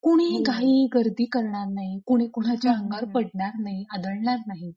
कुणीही घाईगर्दी करणार नाही कुणी कुणाच्या अंगावर पडणार नाही आदळणार नाही.